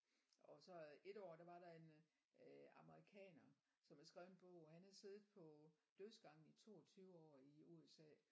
Og så et år der var der en øh amerikaner som havde skrevet en bog og han havde siddet på dødsgangen i 22 år i USA